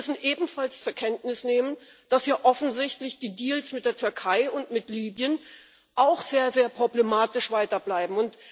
Wir müssen ebenfalls zur Kenntnis nehmen, dass offensichtlich die Deals mit der Türkei und mit Libyen auch weiter sehr problematisch bleiben.